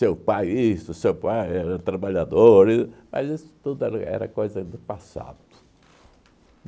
Seu pai isso seu pai era trabalhador e, mas isso tudo era era coisa do passado.